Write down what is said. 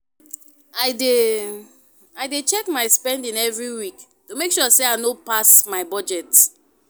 I dey I dey check my spending every week to make sure I no pass my budget.